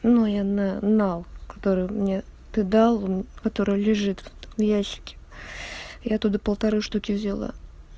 ну я на нал который мне ты дал который лежит в ящике я оттуда полторы штуки взяла